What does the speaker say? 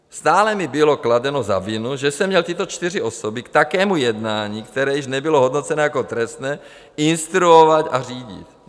Stále mi bylo kladeno za vinu, že jsem měl tyto čtyři osoby k takovému jednání, které již nebylo hodnoceno jako trestné, instruovat a řídit.